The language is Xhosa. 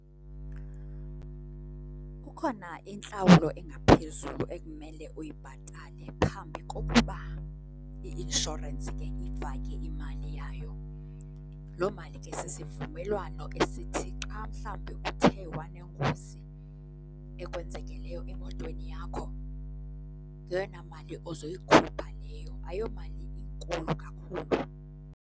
Kukhona intlawulo engaphezulu ekumele uyibhatale phambi kokuba i-inshorensi ke ifake imali yayo. Loo mali ke sisivumelwano esithi xa mhlawumbe uthe wanengozi ekwenzekeleyo emotweni yakho yeyona mali ozoyikhupha leyo, ayomali inkulu kakhulu.